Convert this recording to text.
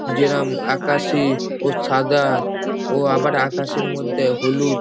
যেরম আকাশী ও সাদা ও আবার আকাশীর মধ্যে হলুদ--